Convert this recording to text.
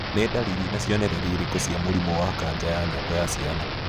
Nĩ ndariri na cionereria irĩkũ cia mũrimũ wa kanja ya nyongo ya ciana